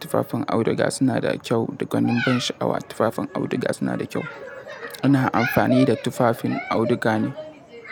tufafin auduga suna da kyau da gwanin ban sha'awa. Tufafin auduga suna da kyau. Ina amfani da tufafin auduga ne.